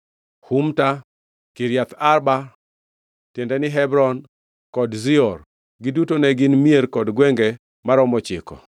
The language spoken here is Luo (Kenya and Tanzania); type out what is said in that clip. Humta, Kiriath Arba (tiende ni, Hebron), kod Zior. Giduto ne gin mier kod gwenge maromo ochiko.